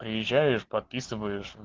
приезжаешь подписываешь